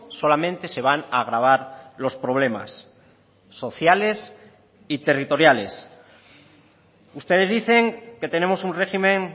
solamente se van a agravar los problemas sociales y territoriales ustedes dicen que tenemos un régimen